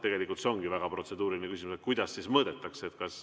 Tegelikult see ongi väga protseduuriline küsimus, kuidas siis seda mõõdetakse.